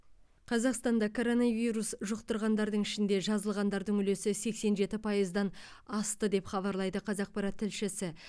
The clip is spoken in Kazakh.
қазақстанда коронавирус жұқтырғандардың ішінде жазылғандардың үлесі сексен жеті пайыздан асты деп хабарлайды қазақпарат тілшісі